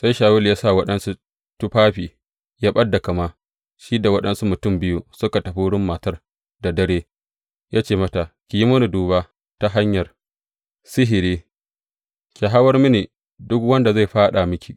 Sai Shawulu ya sa waɗansu tufafi ya ɓad da kama, shi da waɗansu mutum biyu suka tafi wurin matar da dare, ya ce mata, Ki yi mini duba ta hanyar sihiri, ki hawar mini duk wanda zan faɗa miki.